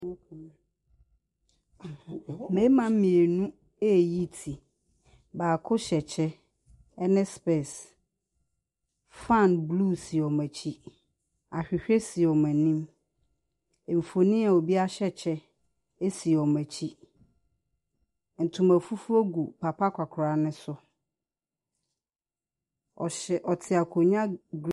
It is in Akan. Mmarima mmienu reyi ti. Baako hyɛ kyɛ ne specks. Fan blue si wɔn akyi. Ahwehwɛ si wɔn anim. Mfonin a obi ahyɛ kyɛ si wɔn akyi. Ntoma fufuo gu papa akɔkoraa no so. Ↄhyɛ ɔte akonnwa gr .